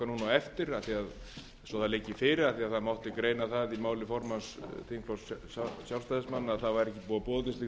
eftir svo að það liggi fyrir af því að það mátti greina það í máli formanns þingflokks sjálfstæðismanna að ekki væri búið